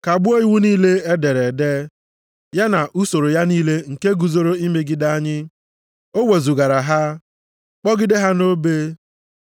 kagbuo iwu niile e dere ede, ya na usoro ya niile nke guzoro imegide anyị. O wezugara ha, kpọgide ha nʼobe.